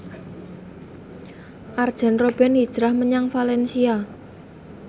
Arjen Robben hijrah menyang valencia